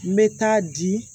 N bɛ taa di